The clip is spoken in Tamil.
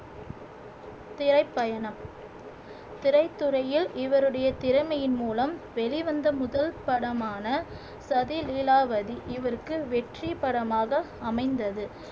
திரைப்பயணம் திரைத்துறையில் இவருடைய திறமையின் மூலம் வெளிவந்த முதல் படமான சதிலீலாவதி இவருக்கு வெற்றி படமாக அமைந்தது